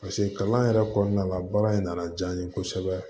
paseke kalan yɛrɛ kɔnɔna la baara in nana diya n ye kosɛbɛ